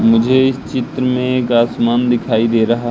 मुझे इस चित्र में एक आसमान दिखाई दे रहा--